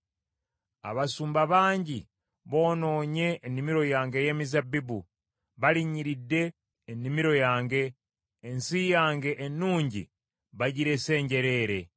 Abasumba bangi boonoonye ennimiro yange ey’emizabbibu, balinnyiridde ennimiro yange, ensi yange ennungi bagirese njereere.